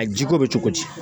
A jiko bɛ cogo di